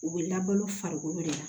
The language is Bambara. U bɛ labalo farikolo de la